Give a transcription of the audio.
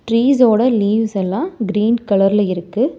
Trees ஓட leaves எல்லாம் green கலர்ல இருக்கு.